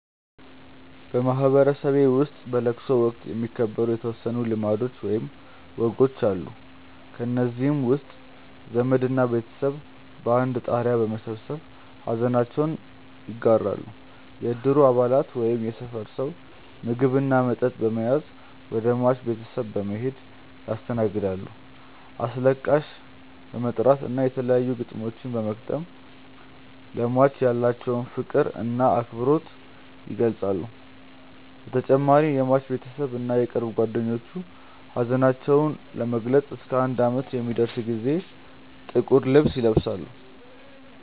በማህበረሰቤ ውስጥ በለቅሶ ወቅት የሚከበሩ የተወሰኑ ልማዶች ወይም ወጎች አሉ። ከእነዚህም ውስጥ ዘመድ እና ቤተሰብ በአንድ ጣሪያ በመሰብሰብ ሐዘናቸውን ይጋራሉ፣ የእድሩ አባላት ወይም የሰፈር ሰው ምግብ እና መጠጥ በመያዝ ወደ ሟች ቤተሰብ በመሔድ ያስተናግዳሉ፣ አስለቃሽ በመጥራት እና የተለያዩ ግጥሞችን በመግጠም ለሟች ያላቸውን ፍቅር እና አክብሮት ይገልፃሉ በተጨማሪም የሟች ቤተሰብ እና የቅርብ ጓደኞቹ ሀዘናቸውን ለመግለፅ እስከ አንድ አመት ለሚደርስ ጊዜ ጥቁር ልብስ ይለብሳሉ።